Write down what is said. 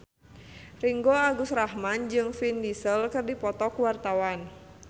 Ringgo Agus Rahman jeung Vin Diesel keur dipoto ku wartawan